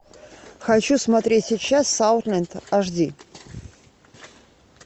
хочу смотреть сейчас саутленд аш ди